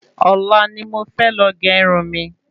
Ọ̀la ni mo fẹ́ lọ gé Irun mi